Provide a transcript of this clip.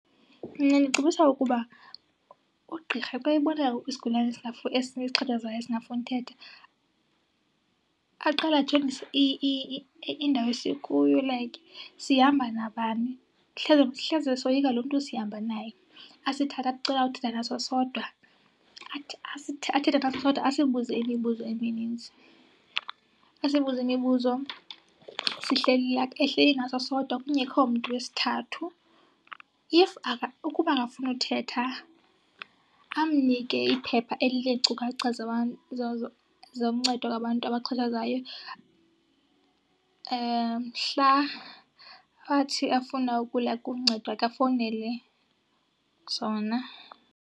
Mna ndicebisa ukuba ugqirha xa ebona isigulana esixhatshazwayo esingafuni uthetha aqale ajonge indawo esikuyo like sihamba nabani. Hleze soyika lo mntu sihamba naye. Asithathe athi ucela uthetha naso sodwa. Athi , athethe naso sodwa asibuze imibuzo emininzi. Asibuze imibuzo sihleli , ehleli naso sodwa kungekho mntu wesithathu. If , ukuba akafuni uthetha amnike iphepha elineenkcukacha zoncedo lwabantu abaxhatshazwayo. Mhla athi afuna ukuya kuncedo ke afowunele zona.